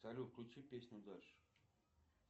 салют включи песню дальше